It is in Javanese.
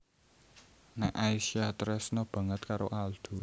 Nek Aisyah tresna banget karo Aldo